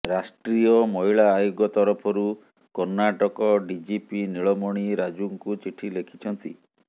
ରାଷ୍ଟ୍ରୀୟ ମହିଳା ଆୟୋଗ ତରଫରୁ କର୍ଣ୍ଣାଟକ ଡିଜିପି ନୀଳମଣି ରାଜୁଙ୍କୁ ଚିଠି ଲେଖିଛନ୍ତି